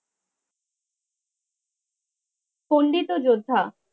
খন্ডিত যোদ্ধা